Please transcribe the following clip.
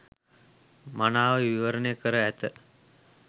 මනාව විවරණය කර ඇත.